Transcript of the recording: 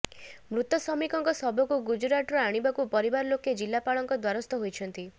ମୃତ ଶ୍ରମିକଙ୍କ ଶବକୁ ଗୁଜରାଟରୁ ଆଣିବାକୁ ପରିବାର ଲୋକେ ଜିଲାପାଳଙ୍କ ଦ୍ୱାରସ୍ଥ ହୋଇଛନ୍ତି